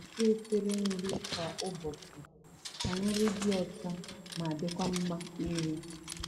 O na-asa efere nri kwa ụbọchị ka nri dị ọcha ma dịkwa mma iri.